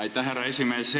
Aitäh, härra esimees!